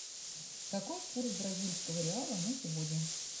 какой курс бразильского реала на сегодня